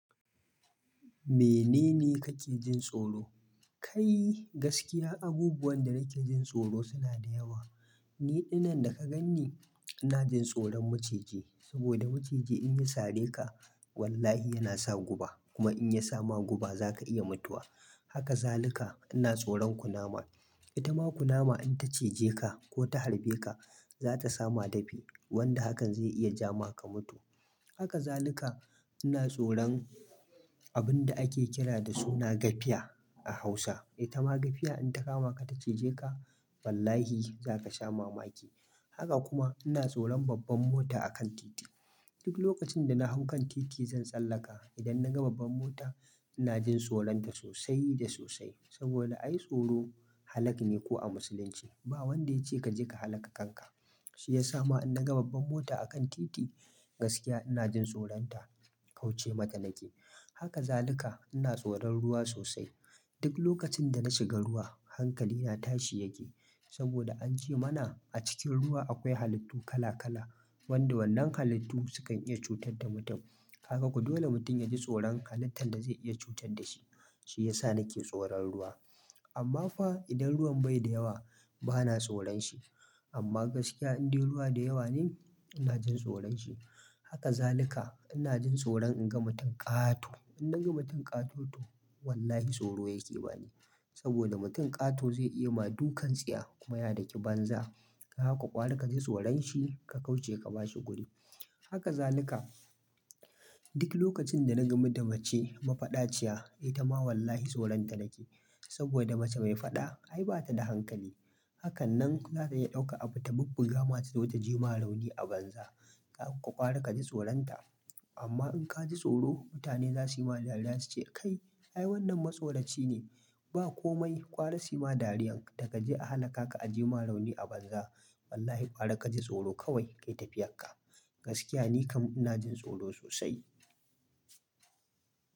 Menene kake jin tsoro? Kai gaskiya abubuwan da nake jin tsoro suna da yawa. Ni dinnan daga gan ni, ina jin tsoron maciji saboda maciji in ya sare ka wallahi yana sa guba. Kuma in ya sa ma guba za ka iya mutuwa. Haka zaluka ina tsoron kunama. Ita ma kunama in ta cije ka ko ta harbe ka, za ta sama dafi wanda hakan zai iya ja ma ka mutu. Haka zaluka ina tsoron abun da ake kira da suna gafiya a Hausa. Ita ma gafiya in ta kama ka ta cije ka wallahi za ka sha mamaki. Haka kuma ina tsoron babban mota a kan titi. Duk lokacin da na hau kan titi zan tsallaka. Idan na ga babban mota ina jin tsoron ta sosai da sosai saboda an yi tsoro halak ne ko a musulunci. Ba wanda ya ce ka je ka halaka kanka. Shi ya sa ma in na ga babban mota a kan titi gaskiya ina jin tsoron ta, kauce mata nake. Haka zaluka ina tsoron ruwa sosai. Duk lokacin da na shiga ruwa hankali na tashi yake saboda an ce mana a cikin ruwa akwai halittu kala kala wanda wannan halittu su kan iya cutar da mutum. Haka ku dole mutum ya ji tsoron halittan da zai iya cutar da shi. Shi ya sa nake tsoron ruwa. Amma fa idan ruwan bai da yawa bana tsoron shi. Amma gaskiya in dai ruwa da yawa ne ina jin tsoron shi. Haka zaluka ina jin tsoron in ga mutum ƙato. In na ga mutum ƙato to wallahi tsoro yake bani saboda mutum ƙato zai iya ma dukan tsiya kuma ya daki banza. Haka gwara kaji tsoron shi ka kauce ka bashi guri. Haka zaluka duk lokacin da na ga mace mafadaciya ita ma wallahi tsoron ta nake saboda mace mai faɗa ai bata da hankali. Haka nan za ta iya ɗauka abu ta bubbu gama ta zo ta je ma rauni a banza. Haka kwari kaji tsoron ta. Amma in ka ji tsoro mutane za su yi ma dariya su ce "Kai ai wannan masoraci ne." Ba komai kwari sii ma dariyan ka je a halaka ka aje ma rauni a banza. Wallahi kwari kaji tsoro kawai kai tafiyan ka. Gaskiya ni kam ina jin tsoro sosai.